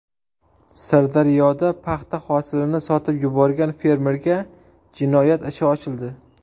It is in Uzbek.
Sirdaryoda paxta hosilini sotib yuborgan fermerga jinoyat ishi ochildi.